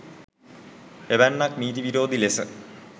එවැන්නක් නීති විරෝධී ලෙස